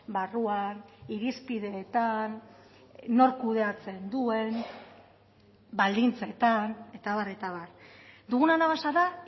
barruan irizpideetan nork kudeatzen duen baldintzetan eta abar eta abar dugun anabasa da